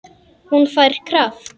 Hún fær kraft.